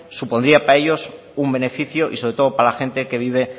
supondría pare ellos un beneficio y sobre todo para la gente que vive